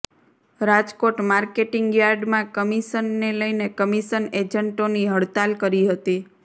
Rajkot marketing યાર્ડમાં commission ને લઈને કમિશન એજન્ટોની હડતાલ કરી હતી